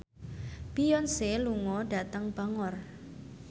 Beyonce lunga dhateng Bangor